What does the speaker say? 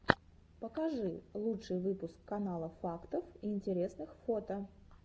покажи лучший выпуск канала фактов и интересных фото